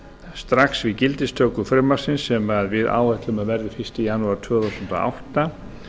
strax við gildistöku frumvarpsins sem við áætlum að verði fyrsta janúar tvö þúsund og átta